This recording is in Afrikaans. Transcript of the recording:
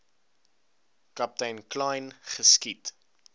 kaptein kleyn geskiet